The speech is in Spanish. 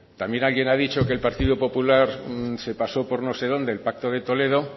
también alguien ha dicho que el partido popular se pasó por no sé dónde el pacto de toledo